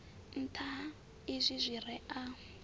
nṱha ha izwi zwire a